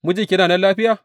Mijinki yana nan lafiya?